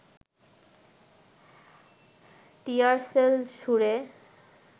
টিয়ার shell ছুড়ে